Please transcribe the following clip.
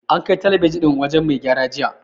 An kai talabijin ɗin wajen mai gyara jiya.